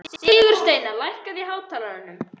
Sigursteina, lækkaðu í hátalaranum.